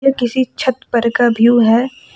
ये किसी छत पर का व्यू है।